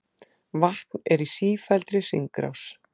Vatn er í sífelldri hringrás.